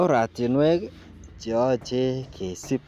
oratinweek iih cheoche kesiib